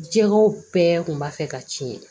Jɛgɛw bɛɛ kun b'a fɛ ka tiɲɛ